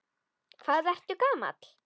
Hvað ertu gamall?